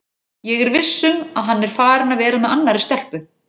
Ég er viss um að hann er farinn að vera með annarri stelpu.